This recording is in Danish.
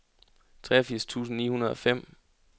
treogfirs tusind ni hundrede og fem